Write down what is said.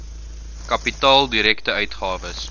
kapitaal direkte uitgawes